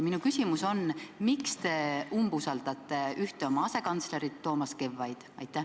Minu küsimus on: miks te umbusaldate ühte oma asekantslerit, Toomas Kevvaid?